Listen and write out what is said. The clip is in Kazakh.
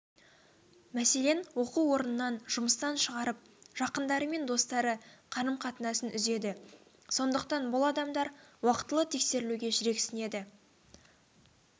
мәселен оқу орнынан жұмыстан шығарып жақындары мен достары қарым-қатынасын үзеді сондықтан бұл адамдар уақытылы тексерілуге жүрексінеді